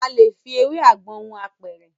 A lè fi ewé àgbọn hun apẹ̀rẹ̀.